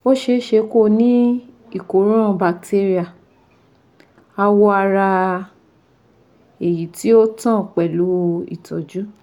Ó ṣeéṣe kó o ní ìkóràn batéríà awọ ara èyí tí ò tán pẹ̀lú ìtọ́jú